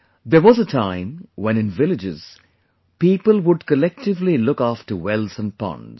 there was a time when in villages, people would collectively look after wells and ponds